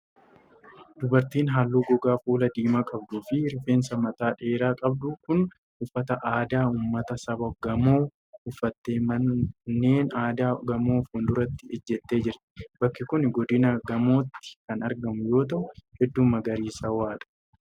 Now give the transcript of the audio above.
Dubartiin haalluu gogaa fuulaa diimaa qabdu fi rifeensa mataa dheeraa qabdu kun, uffata aadaa ummata saba Gaamoo uffattee manneen aadaa Gaamoo fuuldura ijjattee jirti. Bakki kun, Godina gaamotti kan argamu yoo ta'u, hedduu magariisawaa dha.